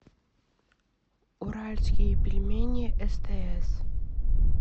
уральские пельмени стс